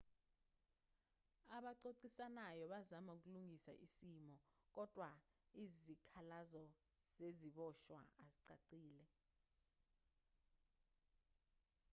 abaxoxisanyao bazama ukulungisa isimo kodwa izikhalazo zeziboshwa azicacile